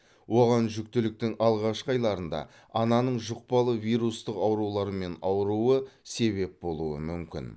оған жүктіліктің алғашқы айларында ананың жұқпалы вирустық аурулармен ауруы себеп болуы мүмкін